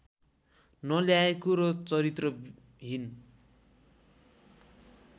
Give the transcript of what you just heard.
नल्याएको र चरित्रहीन